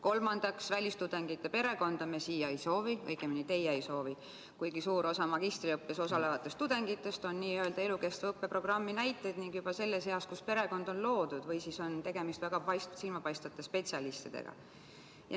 Kolmandaks, välistudengi perekonda me siia ei soovi, õigemini teie ei soovi, kuigi suur osa magistriõppes osalevatest tudengitest on n-ö elukestva õppeprogrammi näited ning juba selles eas, kus perekond on loodud, või siis on tegemist väga silmapaistvate spetsialistidega.